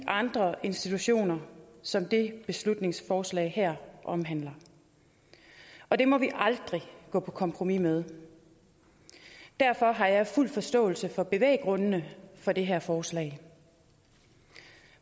andre institutioner som det her beslutningsforslag omhandler og det må vi aldrig gå på kompromis med derfor har jeg fuld forståelse for bevæggrundene for det her forslag